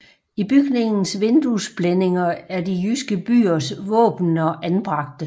I bygningens vinduesblændinger er de jyske byers våbener anbragte